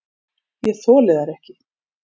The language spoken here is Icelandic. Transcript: Ég þoli þær ekki.